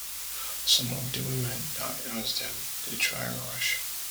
some of di women die as dem dey try rush